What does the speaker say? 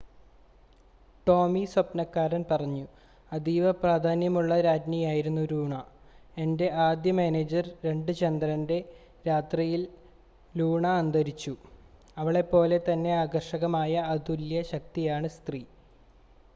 "ടോമി സ്വപ്നക്കാരന്‍ പറഞ്ഞു "അതീവപ്രാധാന്യമുള്ള രാജ്ഞിയായിരുന്നു ലൂണ. എന്റെ ആദ്യ മാനേജർ. 2 ചന്ദ്രന്‍റെ രാത്രിയിൽ ലൂണ അന്തരിച്ചു. അവളെപ്പോലെ തന്നെ ആകര്‍ഷകമായ അതുല്യ. ശക്തയായ സ്ത്രീ.""